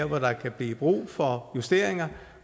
hvor der kan blive brug for justeringer